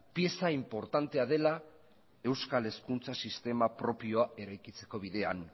pieza inportantea dela euskal hezkuntza sistema propioa eraikitzeko bidean